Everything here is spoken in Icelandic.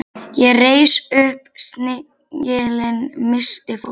Ég reis upp, snigillinn missti fótanna.